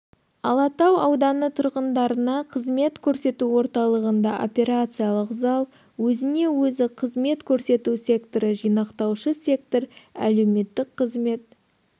алатау ауданы тұрғындарына қызмет көрсету орталығында операциялық зал өзіне-өзі қызмет көрсету секторы жинақтаушы сектор әлеуметтік қызмет